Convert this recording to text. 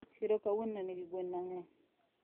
Chiro kawuono nenigi gwen mangeny